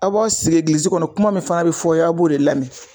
A b'aw sigi egilizi kɔnɔ kuma min fana bi fɔ aw ye a b'o de lamɛn